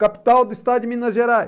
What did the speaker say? Capital do estado de Minas Gerais.